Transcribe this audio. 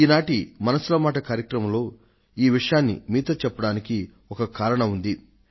ఈ నాటి మనసులో మాట కార్యక్రమంలో ఈ విషయాన్ని మీతో చెప్పడానికి ఒక కారణం ఉంది